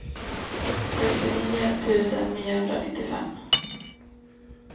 sextionio tusen niohundranittiofem